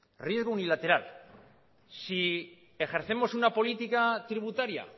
riesgo unilateral si ejercemos una política tributaria